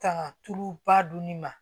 Kanga tulu ba dun ni ma